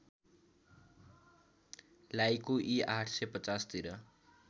लायकु इ ८५० तिर